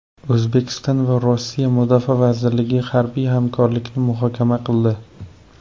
O‘zbekiston va Rossiya mudofaa vazirlari harbiy hamkorlikni muhokama qildi.